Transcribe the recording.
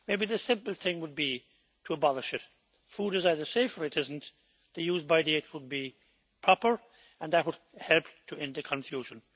Maybe the simple thing would be to abolish it. Food is either safe or it is not, the use by' date would be proper and that would help to end the confusion.